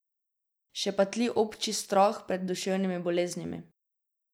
Še pa tli obči strah pred duševnimi boleznimi.